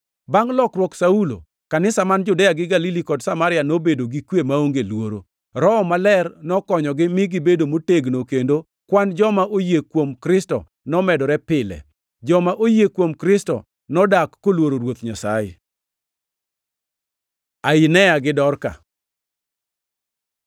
Bangʼ lokruok Saulo, kanisa man Judea gi Galili kod Samaria nobedo gi kwe maonge luoro. Roho Maler nokonyogi, mi gibedo motegno kendo kwan joma oyie kuom Kristo nomedore pile. Joma oyie kuom Kristo nodak koluoro Ruoth Nyasaye. Ainea gi Dorka